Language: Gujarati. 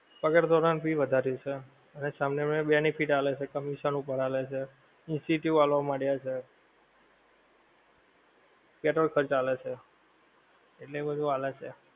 પગાર ધોરણ ભી વાધારીયુ છે, અને સામે વાળા ને benefit આલે છે, commission ઉપર આલે છે, આલવા માળિયા છે, petrol ખર્ચ આલે છે, એટલું એવું બધે આલે છે